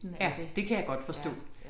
Ja det kan jeg godt forstå